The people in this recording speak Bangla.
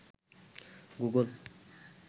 গুগল